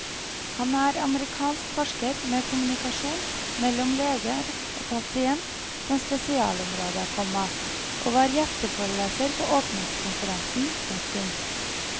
Han er amerikansk forsker med kommunikasjon mellom leger og pasient som spesialområde, komma og var gjesteforeleser på åpningskonferansen. punktum